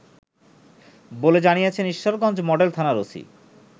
বলে জানিয়েছেন ঈশ্বরগঞ্জ মডেল থানার ওসি